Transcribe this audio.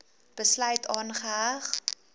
besluit aangeheg